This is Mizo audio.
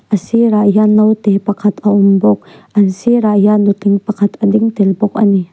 a sirah hian naute pakhat a awm bawk an sir ah hian nutling pakhat a ding tel bawk ani.